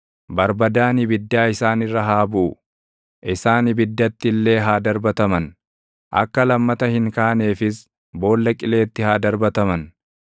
Barbadaan ibiddaa isaan irra haa buʼu; isaan ibiddatti illee haa darbataman; akka lammata hin kaaneefis boolla qileetti haa darbataman.